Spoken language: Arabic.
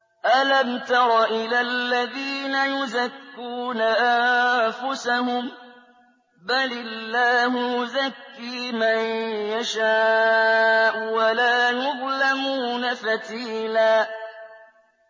أَلَمْ تَرَ إِلَى الَّذِينَ يُزَكُّونَ أَنفُسَهُم ۚ بَلِ اللَّهُ يُزَكِّي مَن يَشَاءُ وَلَا يُظْلَمُونَ فَتِيلًا